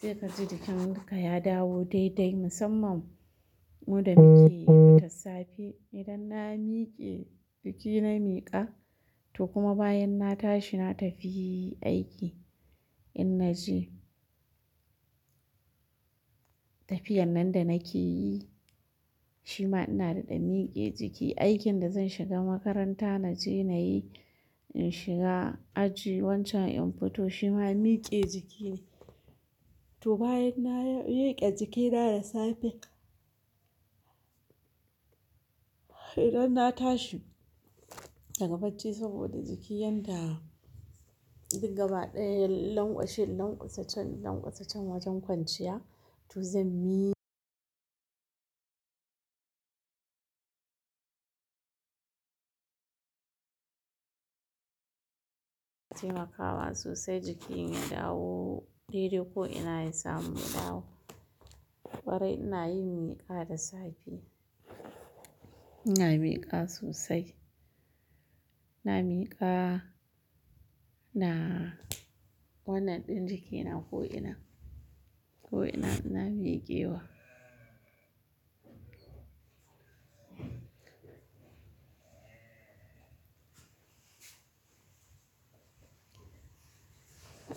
Sai ka ji jikin duka ya dawo da-idai musamman mu da muke fita safe. Idan na miƙe jiki na miƙa, to kuma bayan na tashi na tafi aiki in naje tafiyar nan da nake yi, shi ma ina daɗa miƙe jiki. Aikin da zan shiga makaranta naje na yi, in shiga aji wancan in fito shi ma miƙe jiki ne. To bayan na riƙe jikina da safe, idan na tashi daga bacci saboda jiki yanda, duk gaba ɗaya laƙwashen laƙwasacen, laƙwasacen wajen kwanciya to zan miƙe. Taimakawa sosai jikin ya dawo dai-dai ko ina ya samu ya dawo. Kwarai ina yin miƙa da safe. Ina miƙa sosai. Ina miƙa, ina wannan ɗin jiki na ko ina, ko ina na miƙe wa.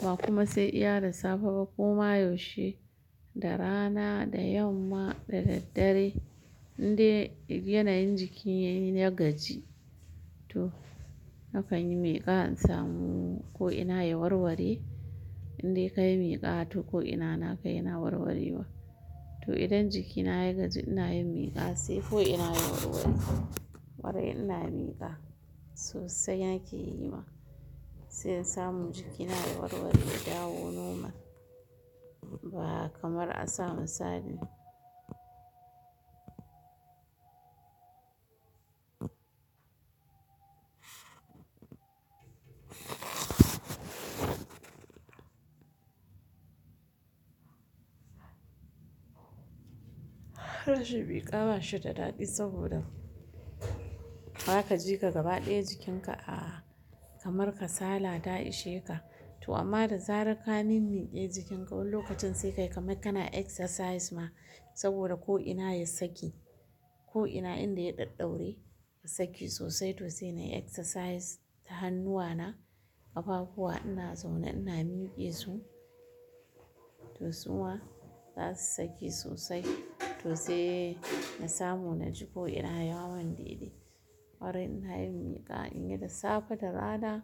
Ba kuma sai iya da safe ba, ko ma yaushe, da rana da yamma da daddare, in dai kiji yana yin jiki ya gaji, to na kan yi miƙa in samu ko ina ya warware. Indai kayi miƙa to ko ina na ka yana warware wa. To idan jikina ya gaji ina yin miƙa sai ko ina ya warware. Kwarai ina miƙa, sosai nake yi ma, sai in samu jiki na ya warware, ya dawo normal, ba kamar a sa misalii. Rashin miƙa ba shi da daɗi saboda, za ka ji ka gaba ɗaya jikin ka a, kamar ka sala ta ishe ka. To amma da zarar ka mimmiƙe jikinka wani lokacin sai ka yi kamar kana exercise ma saboda ko ina ya saki. Ko ina inda ya ɗadɗaure, ya saki sosai to sai nayi exercise. Ta hannuwana, ƙafafuwa ina zaune ina miƙe su, to su ma za su saki sosai. To sai na samu na ji ko ina ya mun dai-dai kwarai ina yin miƙa in yi da safe, da rana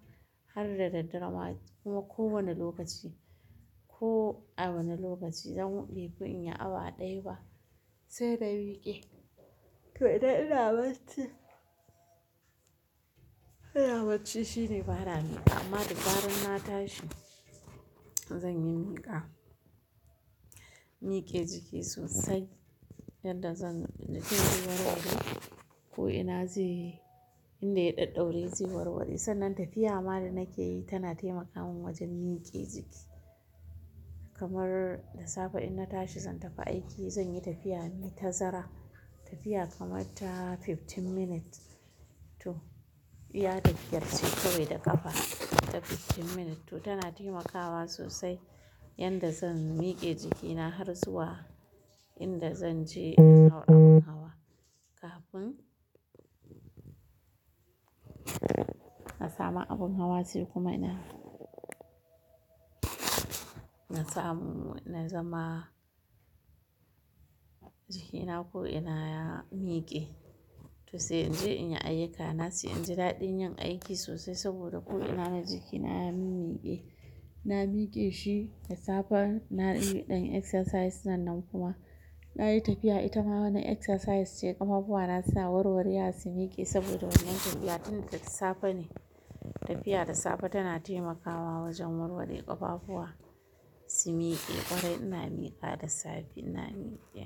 har da daddare ma kuma ko wane lokaci. Ko a wane lokaci dan befi in yi awa ɗaya ba sai na miƙe. To idan ina bacci, ina bacci shine ba na, amma da zaran na tashi, zan yi miƙa. Miƙe jiki sosai, yadda zan inda take warware ko ina zai, inda ya ɗaɗaure zai warware. Sannan tafiya ma da nake yi tana taimaka mun wajen miƙe jiki. Kamar da safe in na tashi zan tafi aiki zan yi tafiya mai ta zara. Tafiya kamar ta fifteen minutes, to iya tafiyar ce kawai da ƙafa, ta fifteen minutes to tana taimakawa sosai, yadda zan miƙe jiki na har zuwa inda zan je in hau abin hawa, kafin na samu abin hawa. Sai kuma ina na samu na zama jikina ko ina ya miƙe. To sai in je in yi ayyuka na sai in ji daɗin yin aiki sosai saboda ko ina na jiki na ya min-miƙe. Na miƙe shi da safe na yi ɗan exercise sannan kuma, na yi tafiya ita ma wani exercise ce ƙafafuwa na sa warware har su miƙe saboda wannan tafiya ɗin da safe ne. Tafiya da safe tana taimakawa wajen warware ƙafafuwa, su miƙe. Ƙwarai ina miƙa da safe ina miƙe.